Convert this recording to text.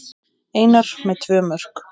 Einar með tvö mörk